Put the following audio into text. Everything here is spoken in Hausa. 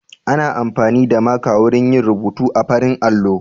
Ana amfani da maka wurin yin rubuta a farin allo